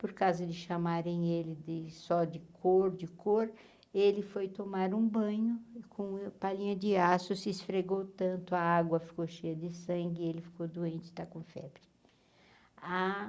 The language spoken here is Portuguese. Por causa de chamarem ele de só de cor, de cor, ele foi tomar um banho com palhinha de aço, se esfregou tanto, a água ficou cheia de sangue, ele ficou doente, está com febre.